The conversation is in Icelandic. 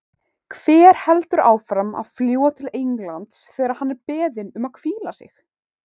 Hver heldur áfram að fljúga til Englands þegar hann er beðinn um að hvíla sig?